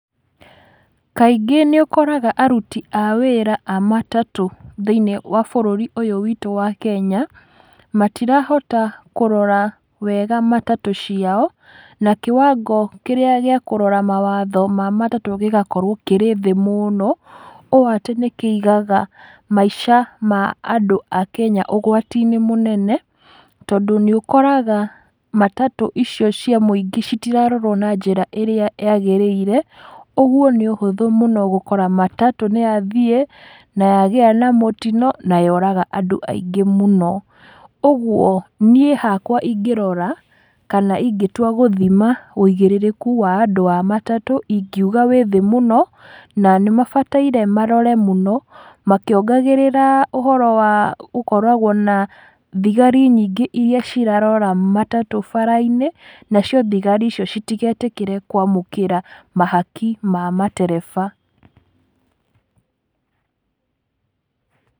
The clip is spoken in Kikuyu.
Kaingĩ nĩũkoraga aruti a wĩra a matatũ thĩiniĩ wa bũrũri ũyũ witũ wa kenya, matirahota kũrora wega matatũ ciao, na kĩwango kĩrĩa gĩa kũrora matatũ gĩgakorwo kĩrĩ thĩ mũno, ũũ atĩ nĩkĩigaga maica ma andũ akenya ũgwati-inĩ mũnene, tondũ nĩúkoraga matatũ icio cia mũingĩ citirarorwo na njĩra ĩrĩa yagĩrĩire, ũguo nĩ ũhũthũ mũno gũkora matatũ nĩyathiĩ, na yagĩa na mũtino, na yoraga andũ aingĩ mũno. Ũguo, niĩ hakwa ingĩrora, kana ingĩtua gũthima wũigĩrĩrĩku wa andũ a matatũ ingiuga wĩ thí mũno, na nĩmabataire marore mũno, makĩongagĩrĩra ũhoro wa gũkoragwo na thigari nyingĩ iria cirarora matatũ bara-inĩ, nacio thigari icio citigetĩkĩre kwamũkĩra mahaki ma matereba